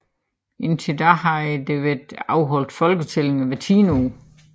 Indtil da havde der været afholdt folketællinger hvert tiende år